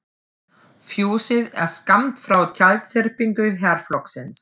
Fjósið er skammt frá tjaldþyrpingu herflokksins.